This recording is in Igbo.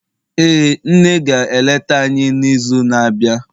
ee, nne ga-eleta anyi n'izu na-abịa